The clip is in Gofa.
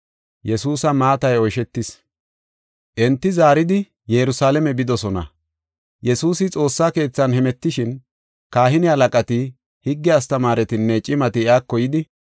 Enti zaaridi Yerusalaame bidosona. Yesuusi xoossa keethan hemetishin, kahine halaqati, higge astamaaretinne cimati iyako yidi,